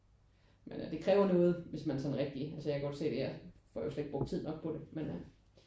Men øh det kræver noget hvis man sådan rigtig altså jeg kan jo godt se jeg det får jo slet ikke brugt tid nok på det